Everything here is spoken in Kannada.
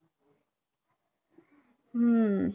ಹ್ಮ್ಮ್ .